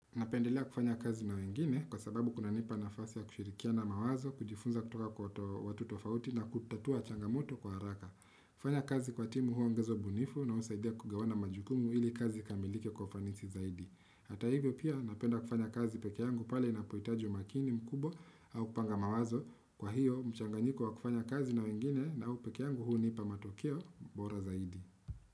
Napendelea kufanya kazi na wengine kwa sababu kunanipa nafasi ya kushirikiana mawazo, kujifunza kutoka kwa watu tofauti na kutatua changamoto kwa haraka. Kufanya kazi kwa timu huongeza ubunifu na husaidia kugawana majukumu ili kazi ikamilike kwa ufanisi zaidi. Hata hivyo pia napenda kufanya kazi peke yangu pale inapohitaji umakini mkubwa au kupanga mawazo. Kwa hiyo, mchanganyiko wa kufanya kazi na wengine na au peke yangu hunipa matokeo bora zaidi.